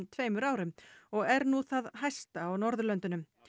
tveimur árum og er nú það hæsta á Norðurlöndunum